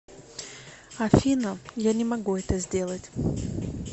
афина я не могу это сделать